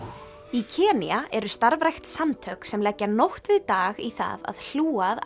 í Kenía eru starfrækt samtök sem leggja nótt við dag í það að hlúa að